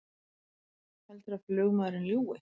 Heldurðu að flugmaðurinn ljúgi!